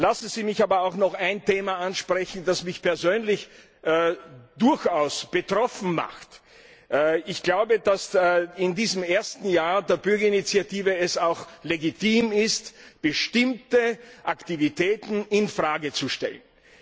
Lassen Sie mich aber auch noch ein Thema ansprechen, das mich persönlich durchaus betroffen macht Ich glaube, dass es in diesem ersten Jahr der Bürgerinitiative auch legitim ist, bestimmte Aktivitäten in Frage zu stellen.